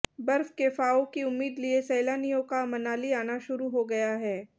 बर्फ के फाहों की उम्मीद लिए सैलानियों का मनाली आना शुरू हो गया है